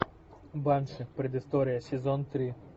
банши предыстория сезон три